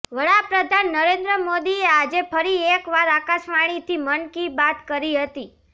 વડાપ્રધાન નરેદ્ર મોદીએ આજે ફરી એકવાર આકાશવાણીથી મન કી બાત કરી હતી